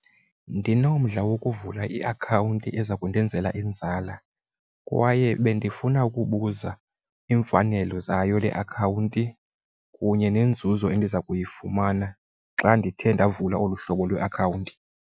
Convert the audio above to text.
Ndinomdla wokuvula iakhawunti eza kundenzela inzala kwaye bendifuna ukubuza iimfanelo zayo le akhawunti kunye neenzuzo endiza kuyifumana xa ndithe ndavula olu hlobo lweakhawunti.